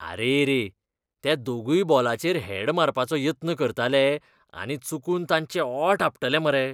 आरेरे! ते दोगूय बॉलाचेर हेड मारपाचो यत्न करताले आनी चुकून तांचे ओंठ आपटले मरे.